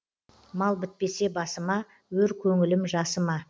мал бітпесе басыма өр көңілім жасыма